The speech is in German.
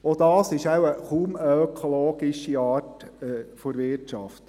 Auch das ist wohl kaum eine ökologische Art der Wirtschaft.